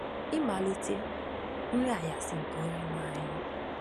Ịmalite “ Nri Anyasị nke Onyenwe anyị. ”